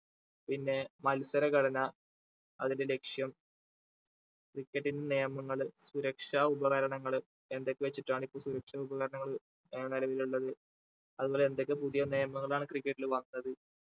പിന്നെ മത്സരഘടന അതിന്റെ ലക്ഷ്യം cricket ന്റെ നിയമങ്ങള് സുരക്ഷാ ഉപകരണങ്ങൾ എന്തൊക്കെ വെച്ചിട്ടാണ് ഇപ്പൊ സുരക്ഷാ ഉപകരണങ്ങൾ ഏർ നിലവിൽ ഉള്ളത് അതുപോലെ എന്തൊക്കെ പുതിയ നിയമങ്ങളാണ് cricket ല് വന്നത്